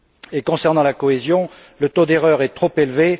S'agissant de la cohésion, le taux d'erreur est trop élevé.